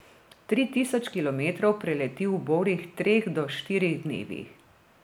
Tri tisoč kilometrov preleti v borih treh do štirih dnevih.